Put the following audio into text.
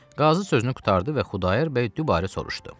Qazı sözünü qurtardı və Xudayar bəy dübarə soruşdu.